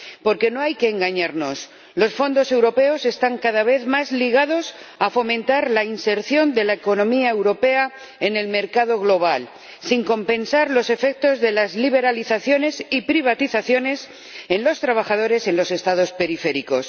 Porque no hay que engañarnos, los fondos europeos están cada vez más ligados a fomentar la inserción de la economía europea en el mercado global, sin compensar los efectos de las liberalizaciones y privatizaciones en los trabajadores de los Estados periféricos.